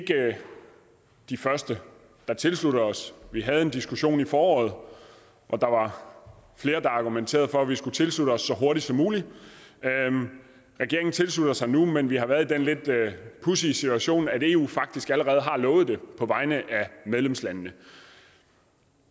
de første der tilslutter os vi havde en diskussion i foråret og der var flere der argumenterede for at vi skulle tilslutte os så hurtigt som muligt regeringen tilslutter sig nu men vi har været i den lidt pudsige situation at eu faktisk allerede har lovet det på vegne af medlemslandene